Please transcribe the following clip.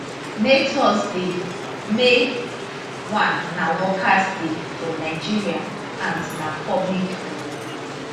may thursday may 1 na workers day for nigeria and na public holiday